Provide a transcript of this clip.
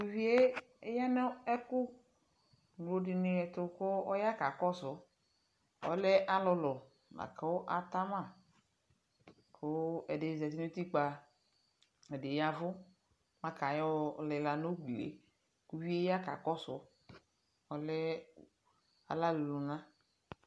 tʊ uvi yɛ ya nʊ ɛkʊ ŋlodɩnɩ ɛtʊ kakɔsʊ, alɛ ɔlʊlʊ, kʊ atama, kʊ ɛdɩnɩ zati nʊ utikpǝ, ɛdɩ y'ɛvʊ lakʊ ayɔ lila nʊ ugli yɛ, kʊ uvi yɛ ya kakɔsʊ, ɔlɛ aɣlanʊ lʊna